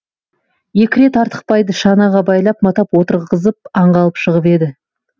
екі рет артықбайды шанаға байлап матап отырғызып аңға алып шығып еді